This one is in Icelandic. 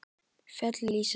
Fjöll lýsast.